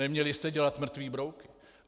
Neměli jste dělat mrtvé brouky.